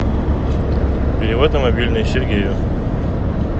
перевод на мобильный сергею